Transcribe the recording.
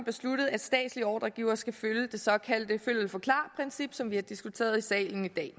at statslige ordregivere skal følge det såkaldte følg eller forklar princip som vi har diskuteret i salen i dag